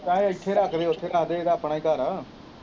ਕਹਿ ਇੱਥੇ ਰੱਖਦੇ ਉੱਥੇ ਰੱਖਦੇ ਇਹਦਾ ਆਪਣਾ ਹੀ ਘਰ ਹੈ।